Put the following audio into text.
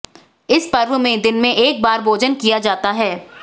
इस पर्व में दिन में एक बार भोजन किया जाता है